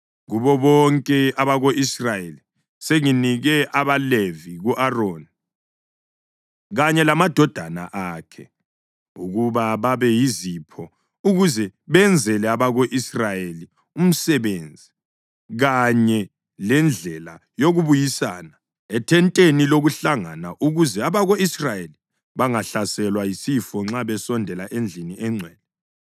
Kubo bonke abako-Israyeli, senginike abaLevi ku-Aroni kanye lamadodana akhe ukuba babe yizipho ukuze benzele abako-Israyeli umsebenzi kanye lendlela yokubuyisana ethenteni lokuhlangana ukuze abako-Israyeli bangahlaselwa yisifo nxa besondela endlini engcwele.”